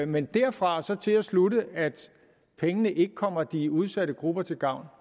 men derfra og så til at slutte at pengene ikke kommer de udsatte grupper til gavn